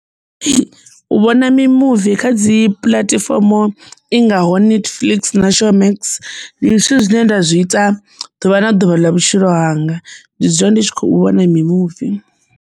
Ee, u vhona mimuvi kha dzi puḽatifomo i ngaho netflix na showmax ndi zwithu zwine nda zwi ita ḓuvha na ḓuvha ḽa vhutshilo hanga ndi dzula ndi tshi khou vhona mimuvi.